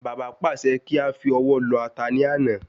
Bàbá pàṣẹ kí áfi ọwọ́ lọ̀ ata ní àná